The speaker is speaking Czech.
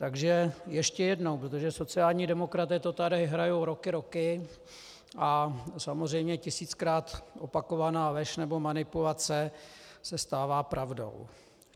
Takže ještě jednou, protože sociální demokraté to tady hrají roky, roky, a samozřejmě tisíckrát opakovaná lež nebo manipulace se stává pravdou.